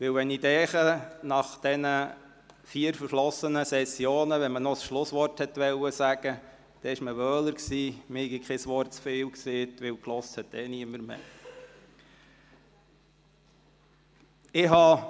Wenn ich an die vier verflossenen Sessionen zurückdenke und noch ein Schlusswort halten wollte, war man wohler, wenn man kein Wort zu viel sagte, weil ohnehin niemand mehr zuhörte.